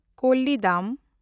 ᱠᱳᱞᱤᱰᱟᱢ